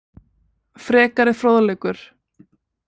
Frekari fróðleikur